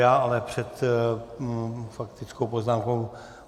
Já ale před faktickou poznámkou